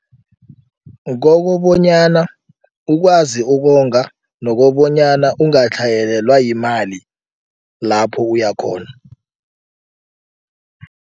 Kokobonyana ukwazi ukonga nokobonyana ungatlhayelwa yimali lapho uyakhona.